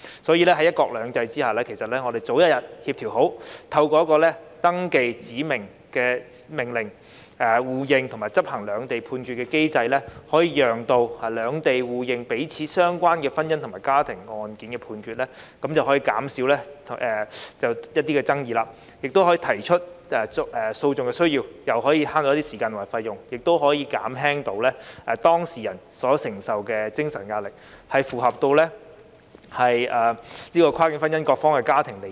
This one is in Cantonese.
所以，在"一國兩制"下，如果我們早日協調好，透過一個登記指明命令、互認及執行兩地判決的機制，便可讓兩地互認彼此有關婚姻及家庭案件的判決，亦可減少就同一項爭議再提出訴訟的需要，既節省時間及費用，也可減輕當事人承受的精神壓力，保障跨境婚姻各方及家庭的利益。